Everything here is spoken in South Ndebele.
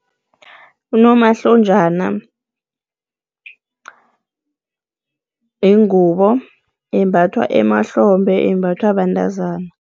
Unomahlonjana yingubo embathwa emahlombe, imbathwa bantazana.